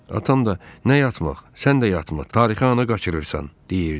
Atam da “Nə yatmaq? Sən də yatma! Tarixi anı qaçırırsan!” deyirdi.